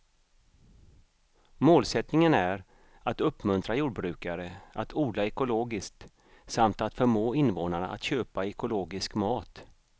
Målsättningen är att uppmuntra jordbrukare att odla ekologiskt samt att förmå invånarna att köpa ekologisk mat.